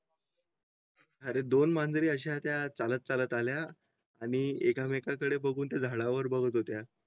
अरे दोन मांजरी अशा त्या चालत चालत आल्या आणि एकमेकांकडे बघून त्या झाडावर बघत होत्या.